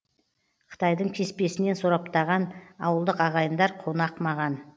қытайдың кеспесінен сораптаған ауылдық ағайындар қонақ маған